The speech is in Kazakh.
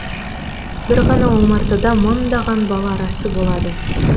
бір ғана омартада мыңдаған бал арасы болады